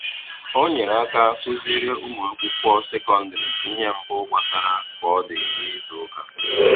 Ọ nyerè aka kụ̀zìrí ụmụ̀akwụkwọ sekọndrị ihe mbù gbasàrà kọdì n’izu ụka.